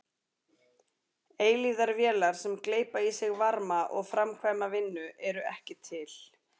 Eilífðarvélar sem gleypa í sig varma og framkvæma vinnu eru ekki til.